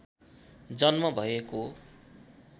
जन्म भएको